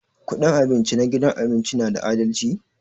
Kudin abinci na gidan abinci na da adalci?